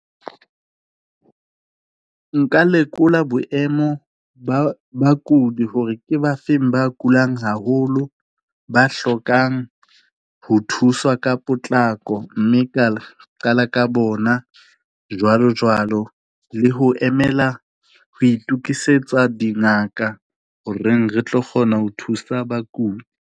Nka lekola boemo ba bakudi hore ke ba feng ba kulang haholo, ba hlokang ho thuswa ka potlako mme ka qala ka bona, jwalo jwalo le ho emela ho itukisetsa dingaka horeng re tlo kgona ho thusa bakudi.